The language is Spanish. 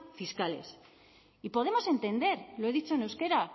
fiscales y podemos entender lo he dicho en euskera